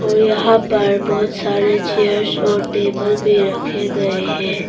और यहां पर बहुत सारे चेयर्स और टेबल भी रखे गए है।